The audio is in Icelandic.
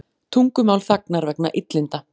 Tungumál þagnar vegna illinda